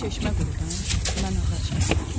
Sən çeşmə qurudan, mən ağac kəsən.